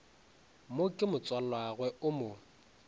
mo ke motswalagwe o mo